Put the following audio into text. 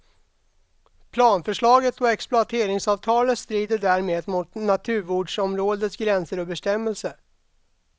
Planförslaget och exploateringsavtalet strider därmed mot naturvårdsområdets gränser och bestämmelser.